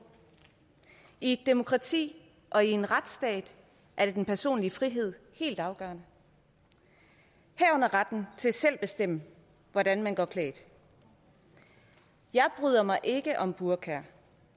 i et demokrati og i en retsstat er den personlige frihed helt afgørende herunder retten til selv at bestemme hvordan man går klædt jeg bryder mig ikke om burkaer